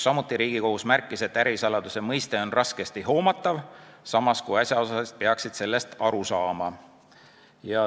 Riigikohus märkis, et ärisaladuse mõiste on raskesti hoomatav, samas kui asjaosalised peaksid sellest aru saama.